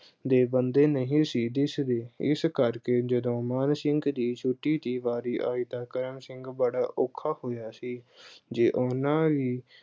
ਦੇ ਬੰਦੇ ਨਹੀਂ ਸੀ ਦਿਸ ਦੇ, ਇਸ ਕਰਕੇ ਜਦੋਂ ਮਾਨ ਸਿੰਘ ਦੀ ਛੁੱਟੀ ਦੀ ਵਾਰੀ ਆਈ ਤਾਂ ਕਾਹਨ ਸਿੰਘ ਬੜਾ ਔਖਾ ਹੋਇਆ ਸੀ ਜੇ ਉਹਨੂੰ ਵੀ